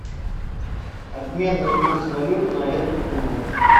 обменный курс валют на эту сумму